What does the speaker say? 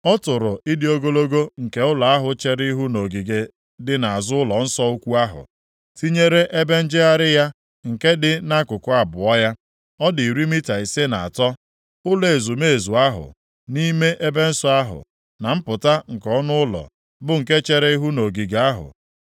Ọ tụrụ ịdị ogologo nke ụlọ ahụ chere ihu nʼogige dị nʼazụ ụlọnsọ ukwu ahụ, tinyere ebe njegharị ya nke dị nʼakụkụ abụọ ya. Ọ dị iri mita ise na atọ. Ụlọ ezumezu ahụ, nʼime ebe nsọ ahụ, na mpụta nke ọnụ ụlọ, bụ nke chere ihu nʼogige ahụ,